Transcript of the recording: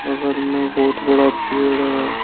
बगल में बहुत बड़ा पेड़ है।